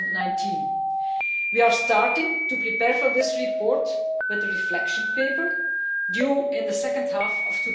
2019. We are starting to prepare for this report with the Reflection Paper due in the second half of